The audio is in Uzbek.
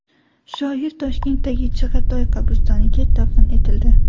Shoir Toshkentdagi Chig‘atoy qabristoniga dafn etildi .